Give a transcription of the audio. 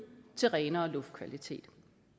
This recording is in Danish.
til renere luftkvalitet